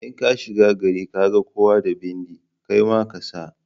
In kashiga gari kaga kowa da bindi kaima kasa.